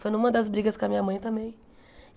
Foi numa das brigas com a minha mãe também.